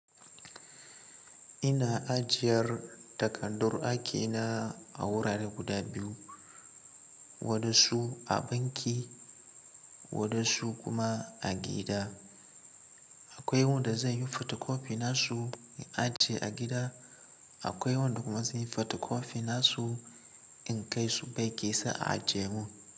Ina ajiyar takaddun aiki na a wurare guda biyu, wadansu a banki wadansu kuma a gida. Akwai wanda zan yi fotokofi nasu in ajiye a gida, akwai wanda kuma zan yi fotokofi nasu in kai su banki sai a ajiye mun.